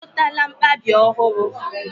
I zụtala mkpabi ọhụrụ?